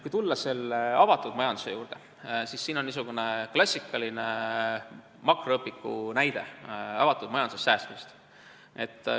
Kui tulla avatud majanduse juurde, siis siin joonisel on esitatud klassikaline makromajanduse õpiku näide avatud majanduses toimuva säästmise kohta.